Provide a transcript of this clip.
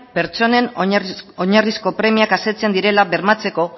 pertsonen oinarrizko premiak asetzen direla bermatzeko